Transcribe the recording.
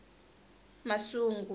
masungu